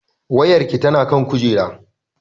Wayarki tana kan kujera